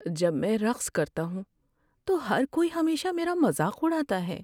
جب میں رقص کرتا ہوں تو ہر کوئی ہمیشہ میرا مذاق اڑاتا ہے۔